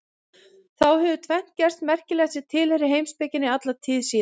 Þá hefur tvennt gerst merkilegt sem tilheyrir heimspekinni alla tíð síðan.